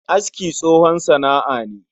Aski tsohon sana'a ne